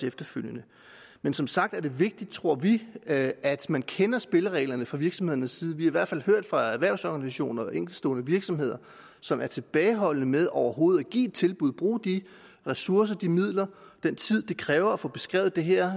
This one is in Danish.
efterfølgende men som sagt er det vigtigt tror vi at at man kender spillereglerne fra virksomhedernes side vi har i hvert fald hørt fra erhvervsorganisationer og enkeltstående virksomheder som er tilbageholdende med overhovedet at give tilbud bruge de ressourcer de midler den tid det kræver at få beskrevet det her